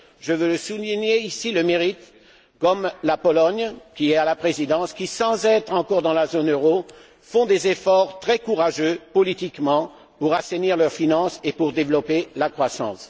Je veux souligner, ici, le mérite de pays comme la Pologne, qui a la Présidence et qui, sans être encore dans la zone euro, font des efforts très courageux politiquement pour assainir leurs finances et développer la croissance.